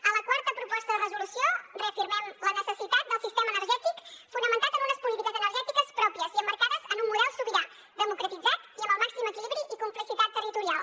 a la quarta proposta de resolució reafirmem la necessitat del sistema energètic fonamentat en unes polítiques energètiques pròpies i emmarcades en un model sobirà democratitzat i amb el màxim equilibri i complicitat territorial